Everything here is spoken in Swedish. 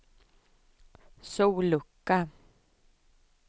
sollucka